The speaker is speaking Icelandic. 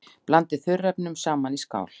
Blandið þurrefnunum saman í skál.